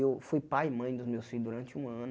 Eu fui pai e mãe dos meus filhos durante um ano.